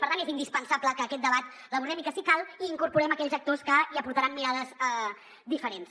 per tant és indispensable que aquest debat l’abordem i que si cal hi incorporem aquells actors que hi aportaran mirades diferents